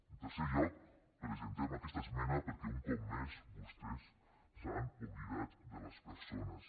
en tercer lloc presentem aquesta esmena perquè un cop més vostès s’han oblidat de les persones